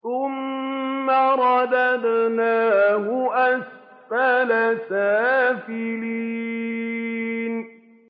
ثُمَّ رَدَدْنَاهُ أَسْفَلَ سَافِلِينَ